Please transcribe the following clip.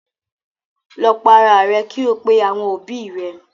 Lọ para rẹ kí ò pè àwọn òbí rẹ.